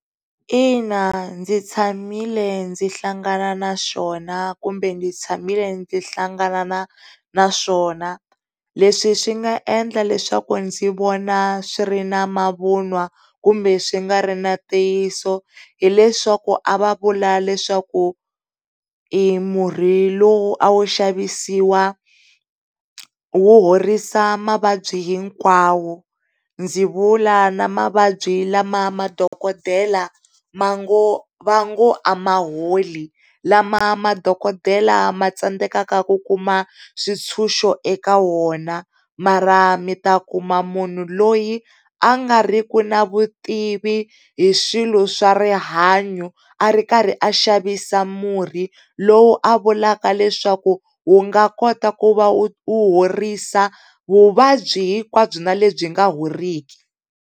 Ina, ndzi tshamile ndzi hlangana naswona kumbe ndzi tshamile ndzi hlangana naswona. Leswi swi nga endla leswaku ndzi vona swi ri na mavun'wa kumbe swi nga ri na ntiyiso hileswaku a va vula leswaku murhi lowu a wu xavisiwa wu horisa mavabyi hinkwawo. Ndzi vula na mavabyi lama madokodela vango a ma holi, lama madokodela ma tsandeka ku kuma swintshuxo eka wona, marha mita kuma munhu loyi angariku na vutivi hi swilo swa rihanyo a ri karhi a xavisa murhi lowu a vulaka leswaku wu nga kota ku va wu horisa vuvabyi hinkwabyo na lebyi nga heriki.